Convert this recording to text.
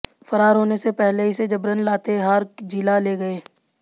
फरार होने से पहले इसे जबरन लातेहार जिला ले गए